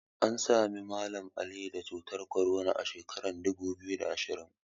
An Sami Mallam Ali da cutar korona a sheka dubu biyu da ashirin